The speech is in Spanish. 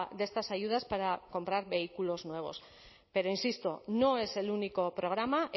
de estas ayudas para comprar vehículos nuevos pero insisto no es el único programa